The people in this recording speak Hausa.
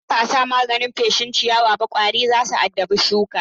Idan ba a sa maganin feshin ciyawaba ƙwari za su addabi shukan.